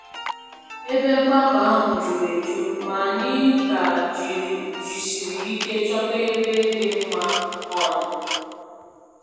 Ebe mgbakọ ahụ juru eju, ma anyị ka jisiri ike chọta ebe dị mma ọnụ